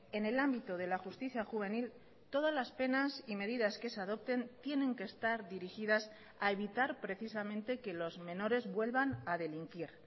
en el ámbito de la justicia juvenil todas las penas y medidas que se adopten tienen que estar dirigidas a evitar precisamente que los menores vuelvan a delinquir